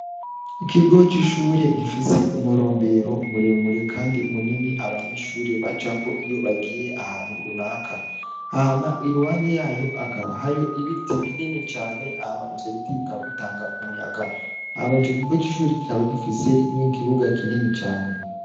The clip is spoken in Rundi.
Ikigo c'ishure ifise umurombero muremure kandi munini abanyeshure bacako iyo bagiye ahantu naka hama iruhande yayo hakaba hari ibiti binini cane hama ivyo biti bikaba bitanga umuyaga hama ico kigo c'ishure kikaba gifise n'ikibuga kinini cane.